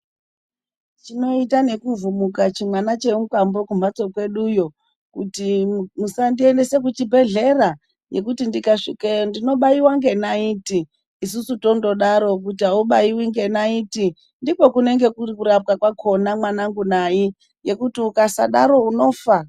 Chinoita nekuvhumuka chimwana chemukwambo kumhatso kwedu kuti musandiendesa kuchibhedhlera nekuti ndikasvikeyo ndinobaiwa ngenaiti isusu tongodaro kuti haubaiwi ngenaiti, ndikokunenge kuri kurapwa kwacho, mwanangu nayi, ngekuti ukasadaro unofa.